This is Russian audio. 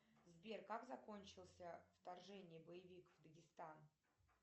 сбер как закончился вторжение боевик в дагестан